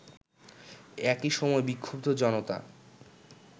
একই সময় বিক্ষুব্ধ জনতা